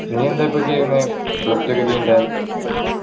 നീ എന്താ ഇപ്പൊ ചെയ്യുന്നേ plus two ഒക്കെ കഴിഞ്ഞിട്ട്